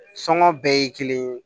Sɔngɔ bɛɛ ye kelen ye